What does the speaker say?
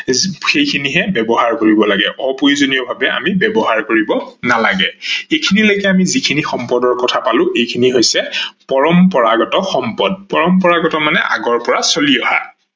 সেইখিনিহে ব্যৱহাৰ কৰিব লাগে। অপ্ৰয়োজনীয় ভাবে আমি ব্যৱহাৰ কৰিব নালাগে, এইখিনি লেকে আমি শিখিনি সম্পদ কথা পালো এইখিনি হৈছে পৰম্পৰাগত সম্পদ। পৰম্পৰাগত মানে আগৰ পৰা চলি অহা